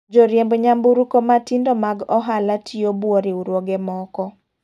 Joriemb nyamburko matindo mag ohala tiyo buo riwruoge moko.